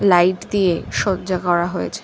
Light দিয়ে সজ্জা করা হয়েছে।